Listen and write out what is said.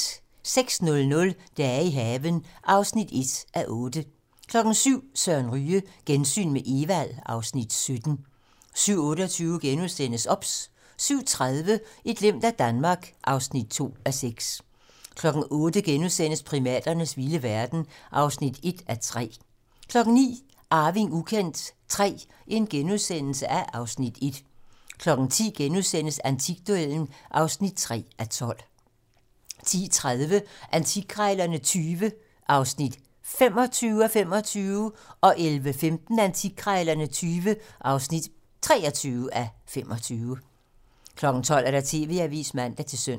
06:00: Dage i haven (1:8) 07:00: Søren Ryge: Gensyn med Evald (Afs. 17) 07:28: OBS * 07:30: Et glimt af Danmark (2:6) 08:00: Primaternes vilde verden (1:3)* 09:00: Arving ukendt III (Afs. 1)* 10:00: Antikduellen (3:12)* 10:30: Antikkrejlerne XX (25:25) 11:15: Antikkrejlerne XX (23:25) 12:00: TV-Avisen (man-søn)